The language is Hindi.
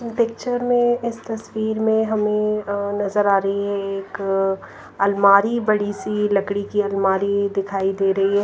पिक्चर में इस तस्वीर में हमें अ नजर आ रही है एक अलमारी बड़ी सी लकड़ी की अलमारी दिखाई दे रही है।